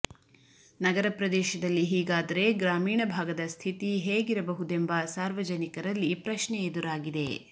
ನಗರ ಪ್ರದೇಶದಲ್ಲಿ ಹೀಗಾದರೆ ಗ್ರಾಮೀಣ ಭಾಗದ ಸ್ಥಿತಿ ಹೇಗಿರಬಹುದೆಂಬ ಸಾರ್ವಜನಿಕರಲ್ಲಿ ಪ್ರಶ್ನೆ ಎದುರಾಗಿದೆ